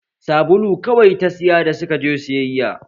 Sabulu kawai ta saya da suka je sayayya